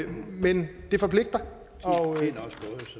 men det forpligter